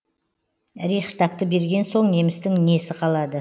рейхстагты берген соң немістің несі қалады